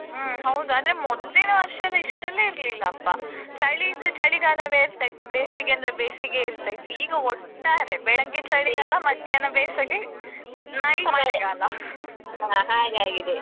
ಹೌದು ಆದ್ರೆ ಮೊದ್ಲಿನ ವರ್ಷೇಲ್ಲಾ ಇಷ್ಟೆಲ್ಲಾ ಇರ್ಲಿಲ್ಲಪ್ಪಾ ಚಳಿ ಇದ್ರೂ ಚಳಿಗಾಲವೇ ಇರ್ತಿತ್ತು ಬೇಸಿಗೆ ಅಂದ್ರೆ ಬೇಸಿಗೆಯೇ ಇರ್ತಿತ್ತು ಈಗ ಒಟ್ಟಾರೆ ಬೆಳಗ್ಗೆ ಚಳಿಗಾಲ ಮಧ್ಯಾಹ್ನ ಬೇಸಿಗೆ night ಮಳೆಗಾಲ.